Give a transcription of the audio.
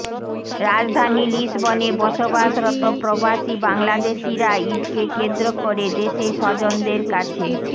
রাজধানী লিসবনে বসবাসরত প্রবাসী বাংলাদেশিরা ঈদকে কেন্দ্র করে দেশে স্বজনদের কাছে